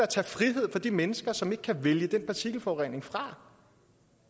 tage frihed fra de mennesker som ikke kan vælge den partikelforurening fra